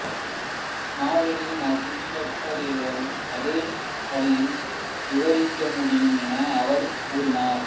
இஸ்மவேலின் வம்சத்தார் அதே வழியில் விவரிக்க முடியும் என அவர் கூறினார்